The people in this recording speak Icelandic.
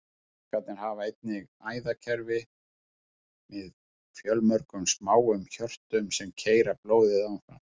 Ánamaðkarnir hafa einnig æðakerfi með fjölmörgum smáum hjörtum, sem keyra blóðið áfram.